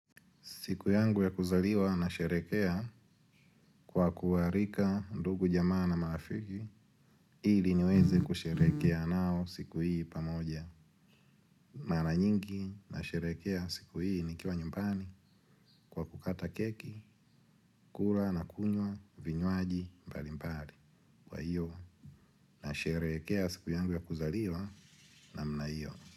Siku yangu ya kuzaliwa nasherekea kwa kuwaalika, ndugu, jamaa na marafiki. Ili niweze kusherekea nao, siku hii pamoja. Mara nyingi nasherekea siku hii nikiwa nyumbani kwa kukata keki, kula na kukunywa vinywaji, mbalimbali. Kwa hiyo nasherekea siku yangu ya kuzaliwa namna hiyo.